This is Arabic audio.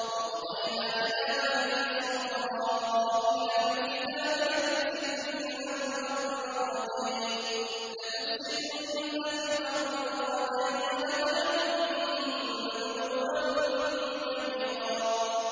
وَقَضَيْنَا إِلَىٰ بَنِي إِسْرَائِيلَ فِي الْكِتَابِ لَتُفْسِدُنَّ فِي الْأَرْضِ مَرَّتَيْنِ وَلَتَعْلُنَّ عُلُوًّا كَبِيرًا